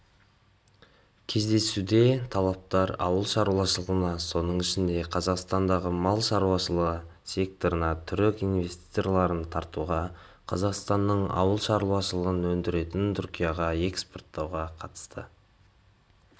кездесуде тараптар ауыл шаруашылығына соның ішінде қазақстандағы мал шаруашылығы секторына түрік инвестицияларын тартуға қазақстанның ауыл шаруашылығы өнімдерін түркияға экспорттауға қатысты